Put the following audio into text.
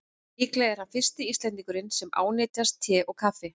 Líklega er hann fyrsti Íslendingurinn sem ánetjast te og kaffi.